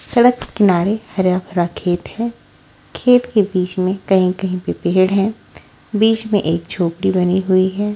सड़क के किनारे हरा भरा खेत है खेत के बीच में कहीं-कहीं पे पेड़ हैं बीच में एक झोपड़ी बनी हुई है।